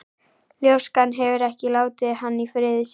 Ljóskan hefur ekki látið hann í friði síðan.